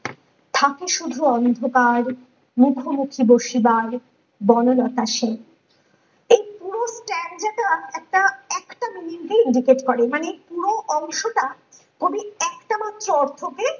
থাকো শুধু অন্ধকার মখোমুখি বসিবার বনলতা সেন এই পুরো stanza টা একটা একটা মিনিটেই করে মানে পুরো অংশটা কবি একটা মাত্র অর্থকে